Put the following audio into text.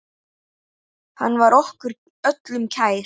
Hann var okkur öllum kær.